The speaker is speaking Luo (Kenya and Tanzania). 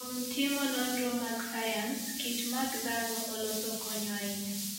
Kuom timo nonro mag sayans, kich ma dhano oloso konyo ahinya.